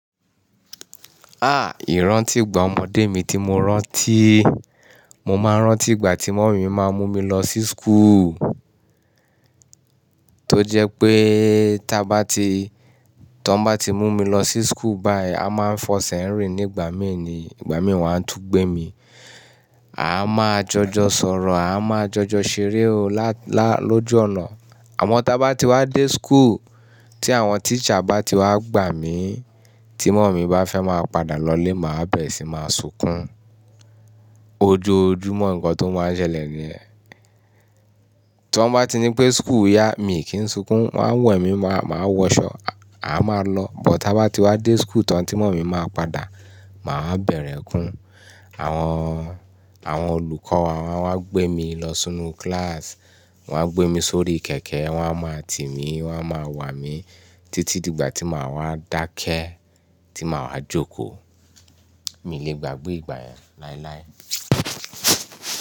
Ah! Ìrántí ìgbà ọmọdé mi tí mo rántí, mo máa ń rántí ìgbà tí mọ́mì mi máa ń mú mi lọ sí school. Tó jẹ pé tá bá ti, tó bá ti mú mi lọ sí school báyìí, a máa ń fọ sẹ́rìn nígbà mí ni, ìgbà mí wọ́n á tún gbé mi. A máa jọjọ sọ̀rọ̀, a máa jọjọ ṣeré o lóju ọ̀nà. Àmọ́ tá bá ti wá dé school, tí àwọn teacher bá ti wá gbà mí, tí mọ́mì bá fẹ́ máa padà lọlé, màá bẹ̀rẹ̀ sí máa sunkún. Ojoojúmọ́ ǹkan tó máa ń ṣẹlẹ̀ ni ẹ. Tó bá ti nipé school yá mi kì í sunkún, wọ́n we mí, máa wọṣọ, a máa lọ. But tá bá ti wá dé school tán tí mọ́mì máa padà, màá bẹ̀rẹ̀ ekun. Àwọn, àwọn olùkọ́ wa won wá gbé mi lọ sínú class, wọ́n á gbé mi sórí kẹ̀kẹ́, wọ́n á máa tì mí, wọ́n á máa wà mí títí di ìgbà tí máa wá dákẹ́, tí máa wá jókòó. Mi lè gbàgbé ìgbà yẹn láéláé.